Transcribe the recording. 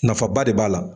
Nafaba de b'a la